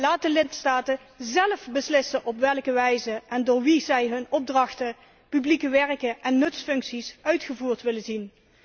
Laat de lidstaten zelf beslissen op welke wijze en door wie zij hun opdrachten, publieke werken en nutsfuncties uitgevoerd willen zien.